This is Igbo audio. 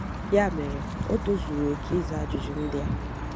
Ya mere, o tozuru oke ịza ajụjụ ndị a.